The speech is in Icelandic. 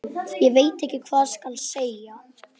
Ég veit ekki hvað skal segja.